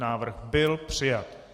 Návrh nebyl přijat.